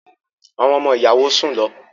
Àwọn ọmọ-ìyàwó sùn lọ.